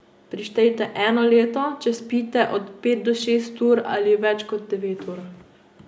Prištejte eno leto, če spite od pet do šest ur ali več kot devet ur.